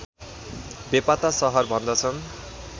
बेपत्ता सहर भन्दछन्